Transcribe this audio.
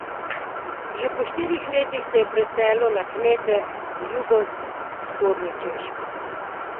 Že po štirih letih se je preselil na kmete v jugovzhodni Češki.